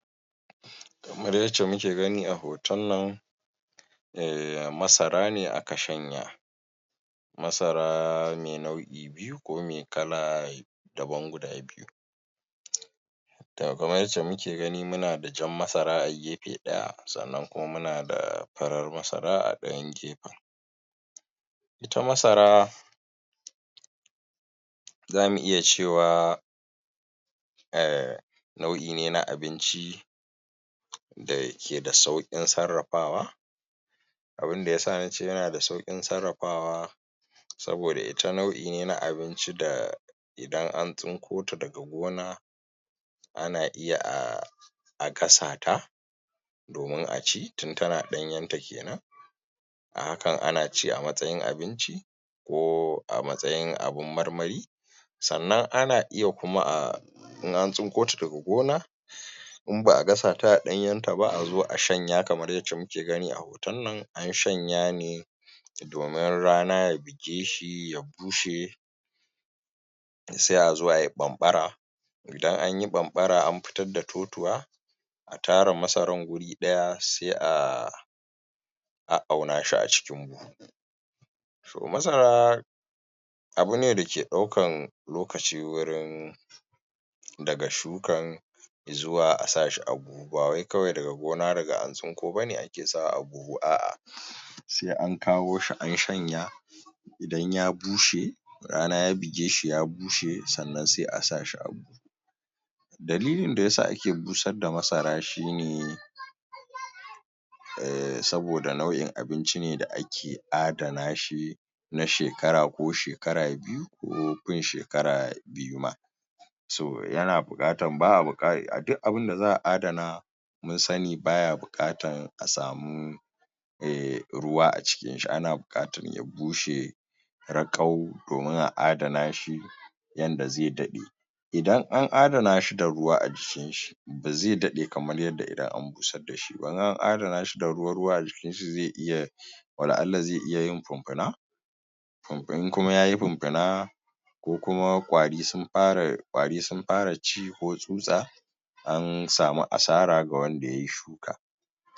Kamar yadda muke gani a hoton nan, masara ne aka shanya. Masara mai nau'i ko mai kal adabna guda biyu. To, kamar yadda muke gani muna da jar masara a gefe ɗaya sanna muna da farar masara a ɗayan gefen. Ita masara za mu iya cewa, nau'i ne na abinci da ke da sauƙin sarrafawa. Abin ya sa na ce yana da suƙin sarrafawa saboda ita nau'i ne na abinci da idan an tsinko ta daga gona ana iya a kasa ta domin a ci, tun tana ɗanyarta ke nan. a hakan ana ci a matsayin abinci ko a matsayin abin marmari, sannan ana iya kuma a in an tsinko ta daga gona, in ba a gasa ta a ɗanyenta ba a zo a shanya kamar yadda muke gani a hoton nan--an shanya ne domin rana ya bige shi ya bushe. sai a zo a yi ɓamɓara. Idan an yi bamɓara an fitar da totuwa, a tara masarar guri ɗaya sai a a'auna shi a cikin buhu. So, masara abu ne da ke ɗaukar lokaci wurin daga shukar zuwa a sa shi a buhu, ba wai kawai daga gona daga an tsinko ba ne ake sawa a buhu. Sai an kawo shi an shanya, idan ya bushe rana ya buge shi ya bushe sannan sai a sa shi a buhu. Dalilin da ya sa ake busar da masara shi ne, saboda nau'in abinci ne da ake adana shi, na shekara ko shekara biyu ko fin shekara biyu ma. So, duk abin da za a adana mun sani baya buƙatar a samu ruwa a cikinshi, ana buƙatar ya bushe, raƙau domin a adana shi yanda zai daɗe. Idan an adana shi da ruwa a jikinshi, ba zai daɗe kamar yadda idan an busar da shi ba. In an adana shu da ruwa-ruwa a jikinshi, zai iya wala-Allah zai iya yin funfuna. In kuma ya yi funfuna, ko kuma ƙwari sun fara ci ko tsutsa. an samu asara ga wanda ya yi shuka.